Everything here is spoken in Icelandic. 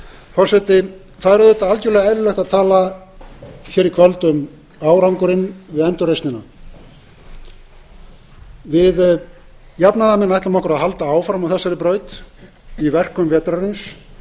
forseti það er auðvitað algerlega eðlilegt að tala hér í kvöld um árangurinn við endurreisnina við jafnaðarmenn ætlum okkur að halda áfram á þessari braut í verkum vetrarins